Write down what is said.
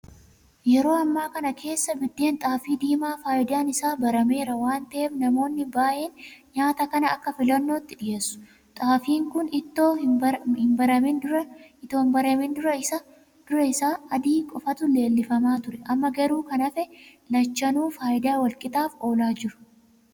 Yeroo ammaa kana keessa biddeen xaafii diimaa faayidaan isaa barameera waanta ta'eef namoonni baa'een nyaata kana akka filannootti dhiyeessu. Xaafiin kun itoo hinbaramin dura isa adii qofatu leellifamaa ture. Amma garuu kun hafee lachanuu faayidaa walqixaaf oolaa jiru.